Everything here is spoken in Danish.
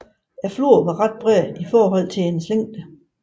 Floden er ret bred i forhold til dens længde